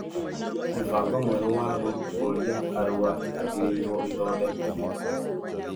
Mũbango mwerũ wa gũkũria Arua yagĩrĩirwo ĩthondekwo